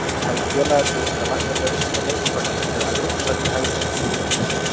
Hefði félagið þurft að lækka laun hjá leikmönnum ef Evrópusætið hefði ekki komið í hús?